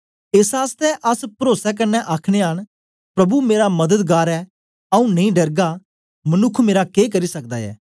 एस आसतै अस परोसे कन्ने आखनयां न प्रभु मेरा मददगार ऐ आऊँ नेई डरगा मनुक्ख मेरा के करी सकदा ऐ